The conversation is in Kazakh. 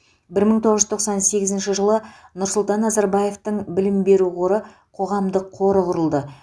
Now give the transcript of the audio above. бір мың тоғыз тоқсан сегізінші жылы нұрсұлан назарбаевтың білім беру қоры қоғамдық қоры құрылды